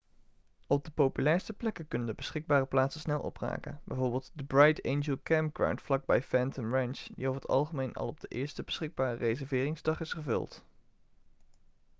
op de populairste plekken kunnen de beschikbare plaatsen snel opraken bijvoorbeeld de bright angel campground vlak bij phantom ranch die over het algemeen al op de eerste beschikbare reserveringsdag is gevuld